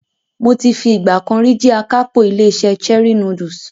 Mo ti fi ìgbà kan rí jẹ́ akápò ilé-iṣẹ́ Cherie Noodles.